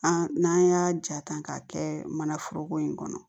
An n'an y'a ja ta k'a kɛ mana foroko in kɔnɔ